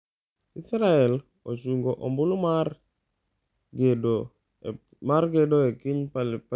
Israel ochungo ombulu mar gedo e piny Palestina